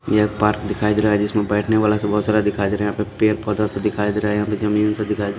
यह एक पार्क दिखाई दे रहा है जिसमें बैठने वाला से बहुत सारा दिखाई दे रहा है यहां पे पैड पौधा से दिखाई दे रहा है यहां पे जमीन से दिखाई दे--